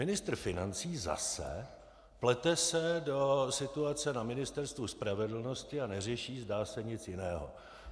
Ministr financí zase plete se do situace na Ministerstvu spravedlnosti a neřeší, zdá se, nic jiného.